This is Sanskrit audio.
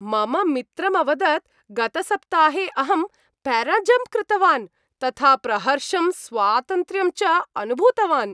मम मित्रम् अवदत् गतसप्ताहे अहं प्याराजम्प् कृतवान्, तथा प्रहर्षं, स्वातन्त्र्यं च अनुभूतवान्।